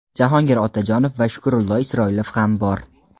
Jahongir Otajonov va Shukrullo Isroilov ham bor.